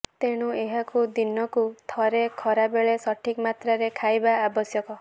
ତେଣୁ ଏହାକୁ ଦିନକୁ ଥରେ ଖରାବେଳେ ସଠିକ ମାତ୍ରାରେ ଖାଇବା ଆବଶ୍ୟକ